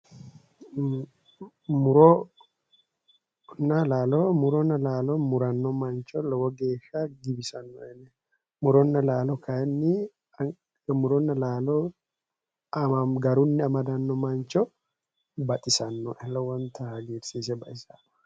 Muronna laalo muronna laalo muranno mancho lowo geeshsha giwisannoe ane muronna laalo kayinni muronna laalo garunni amadanno mancho baxisannoe lowonta hagirisiise baxisaae